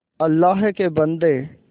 अल्लाह के बन्दे